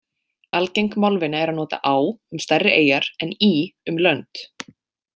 Algeng málvenja er að nota á um stærri eyjar en í um lönd.